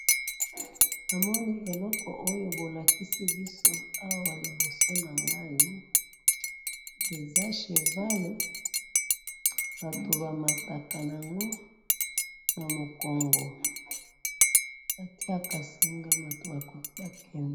Namoni eloko oyo bolakisi biso awa liboso na ngai eza cheval ,bato bamataka na ngo na mokongo batiaka singa bato bakende